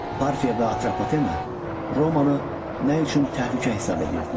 Parfiya və Atropatena Romanı nə üçün təhlükə hesab edirdilər?